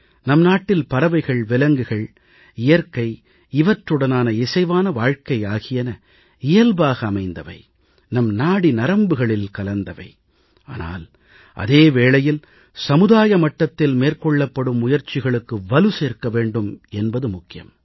நம் நாட்டில் பறவைகள்விலங்குகள் இயற்கை இவற்றுடனான இசைவான வாழ்க்கை ஆகியன இயல்பாக அமைந்தவை நம் நாடி நரம்புகளில் கலந்தவை ஆனால் அதே வேளையில் சமுதாய மட்டத்தில் மேற்கொள்ளப்படும் முயற்சிகளுக்கு வலு சேர்க்க வேண்டும் என்பது முக்கியம்